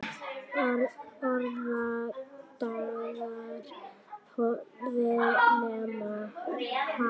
Orðar það við Hemma.